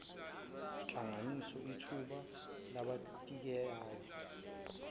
nhlanganiso iyithuba labathintekayo